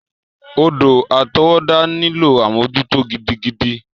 Odò àtọwọ́dá nílò àmójútó gidigidi.